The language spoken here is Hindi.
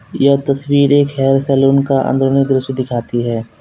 यह तस्वीर एक हेयर सैलून का अंदर में दृश्य दिखाती है।